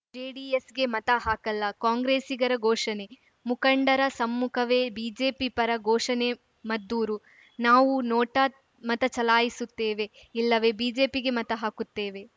ಜೆಡಿಎಸ್‌ಗೆ ಮತ ಹಾಕಲ್ಲ ಕಾಂಗ್ರೆಸ್ಸಿಗರ ಘೋಷಣೆ ಮುಖಂಡರ ಸಮ್ಮುಖವೇ ಬಿಜೆಪಿ ಪರ ಘೋಷಣೆ ಮದ್ದೂರು ನಾವು ನೋಟಾ ಮತ ಚಲಾಯಿಸುತ್ತೇವೆ ಇಲ್ಲವೇ ಬಿಜೆಪಿಗೆ ಮತ ಹಾಕುತ್ತೇವೆ